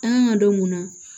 An kan ka dɔ mun na